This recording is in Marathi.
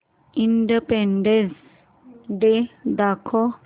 इंडिपेंडन्स डे दाखव